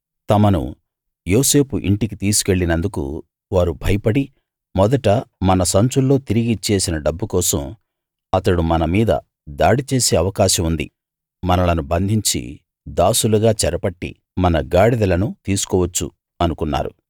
తమను యోసేపు ఇంటికి తీసుకువెళ్ళినందుకు వారు భయపడి మొదట మన సంచుల్లో తిరిగి ఇచ్చేసిన డబ్బు కోసం అతడు మన మీద దాడి చేసే అవకాశం ఉంది మనలను బంధించి దాసులుగా చెరపట్టి మన గాడిదలను తీసుకోవచ్చు అనుకున్నారు